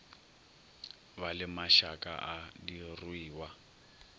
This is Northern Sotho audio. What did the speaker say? ba le mašaka a diruiwa